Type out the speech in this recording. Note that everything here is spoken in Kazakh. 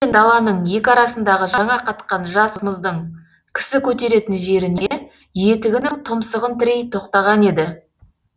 теңіз бен даланың екі арасындағы жаңа қатқан жас мұздың кісі көтеретін жеріне етігінің тұмсығын тірей тоқтаған еді